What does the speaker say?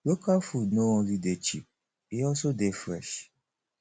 local food no only dey cheap e also dey fresh